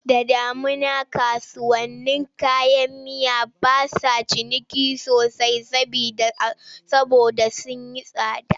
Da damuna kasuwannin kayan miya ba sa ciniki sosai saboda sun yi tsada.